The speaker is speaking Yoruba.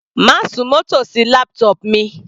Má súnmọ́ tòsí laptop mi.